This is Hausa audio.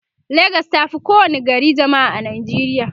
legas tafi kowa ni gari jamma'a a nijeriya